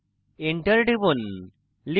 enter টিপুন